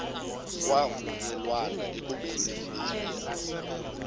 kwavunyelwana ekubeni ibizelwe